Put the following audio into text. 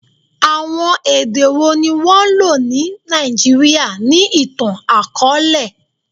Awọn ede wo ni wọn lo ni Naijiria ni itan-akọọlẹ?